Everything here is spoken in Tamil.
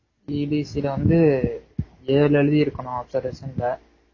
EDC ல வந்து ஏழு எழுதிருக்கணும் observation ல